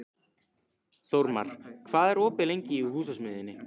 Þórmar, hvað er opið lengi í Húsasmiðjunni?